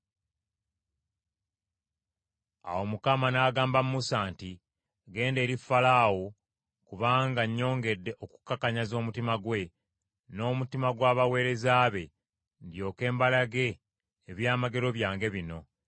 Awo Mukama n’agamba Musa nti, “Genda eri Falaawo, kubanga nnyongedde okukakanyaza omutima gwe, n’omutima gw’abaweereza be, ndyoke mbalage ebyamagero byange bino: